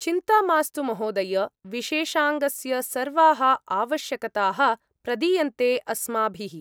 चिन्ता मास्तु महोदय, विशेषाङ्गस्य सर्वाः आवश्यकताः प्रदीयन्ते अस्माभिः।